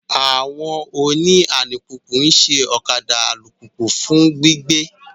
Àwọn oni àlupupu nṣẹ okạdạ àlupupu fun gbigbe.